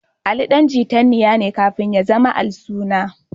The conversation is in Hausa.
Ali ɗan Tijanniya ne kafin ya zama Al-suna.